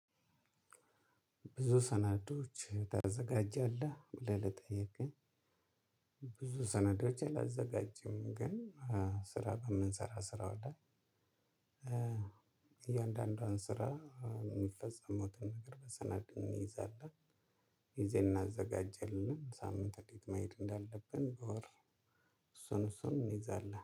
ብዙ ሰናዶች ታዘጋጃለህ ብለህ ለጠየከኝ። ብዙ ሰነዶች አላዘጋጅም። ግን ስራ በምንሰራ ስራው ለይ። እያንዳንዷን ስራ የሚፈጸመውን ነገር በሰነድ እንይዛለን። ጊዜ እናዘጋጀለን ሳምንት እንዴት ማየት እንዳለብን በወር። እሱን እሱን እንይዛለን